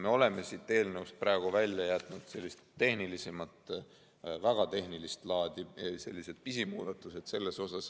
Me oleme eelnõust praegu välja jätnud väga tehnilist laadi pisimuudatused.